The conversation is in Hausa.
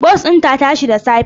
Bas ɗin ta tashi da safe.